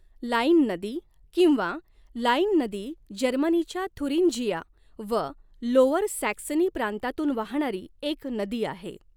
Line नदी किंवा Leine नदी जर्मनीच्या थुरिंजिया व लोअर सॅक्सनी प्रांतातून वाहणारी एक नदी आहे.